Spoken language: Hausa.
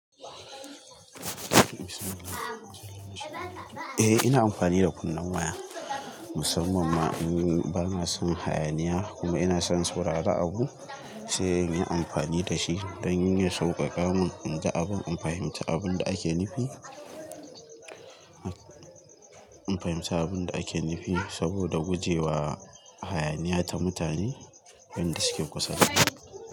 Eh ina amfani da kunnen waya musamman ma in bana son hayaniya kuma ina son saurari abu sai in yi amfani da shi don yin sauƙaƙa mun in ji abun, in fahimci abun da ake nufi, in fahimci abun da ake nufi saboda guje wa hayaniya ta mutane idan su ke kusarwa.